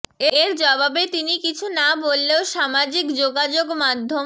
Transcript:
এর জবাবে তিনি কিছু না বললেও সামাজিক যোগাযোগ মাধ্যম